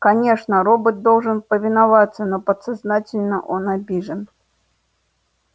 конечно робот должен повиноваться но подсознательно он обижен